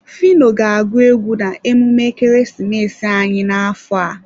Phyno ga-agụ egwu na emume ekeresimesi anyị n'afọ a.